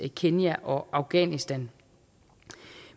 kenya og afghanistan